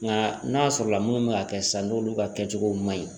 Nka n'a sɔrɔ la minnu bɛ ka kɛ sisan n'olu ka kɛcogo ma ɲi